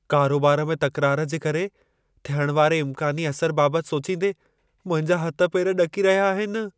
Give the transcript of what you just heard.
कारोबार में तकरार जे करे, थियण वारे इम्कानी असर बाबत सोचींदे मुंहिंजा हथ पेर ॾकी रहिया आहिनि।